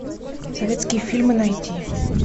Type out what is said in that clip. советские фильмы найти